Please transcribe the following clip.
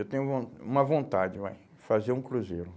Eu tenho von uma vontade, vai, fazer um cruzeiro.